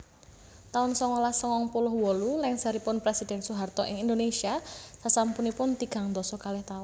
taun songolas sangang puluh wolu Lèngsèripun presidhèn Soeharto ing Indonesia sasampunipun tigang dasa kalih taun